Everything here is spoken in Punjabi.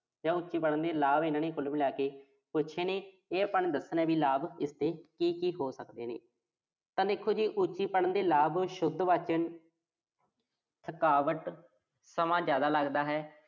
ਜਾਂ ਉਚੀ ਪੜ੍ਹਨ ਦੇ ਲਾਭ ਇਨ੍ਹਾਂ ਨੇ ਕੁੱਲ ਮਿਲਾ ਕੇ ਪੁੱਛੇ ਨੇ। ਇਹ ਆਪਾਂ ਨੇ ਦੱਸਣਾ, ਵੀ ਲਾਭ ਇਸਦੇ ਕੀ-ਕੀ ਹੋ ਸਕਦੇ ਨੇ। ਤਾਂ ਦੇਖੋ ਜੀ ਉੱਚੀ ਪੜ੍ਹਨ ਦੇ ਲਾਭ, ਸ਼ੁੱਧ ਵਾਚਨ ਥਕਾਵਟ, ਸਮਾਂ ਜ਼ਿਆਦਾ ਲਗਦਾ ਹੈ।